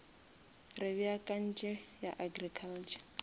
re beakantše ya agriculture